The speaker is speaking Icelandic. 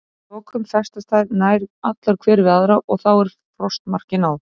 Að lokum festast þær nær allar hver við aðra og þá er frostmarki náð.